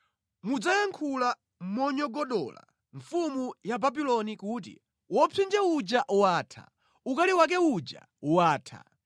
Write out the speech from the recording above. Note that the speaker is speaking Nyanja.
mudzayankhula monyogodola mfumu ya Babuloni kuti, Wopsinja uja watha! Ukali wake uja watha!